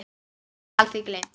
Ekki skal því gleymt.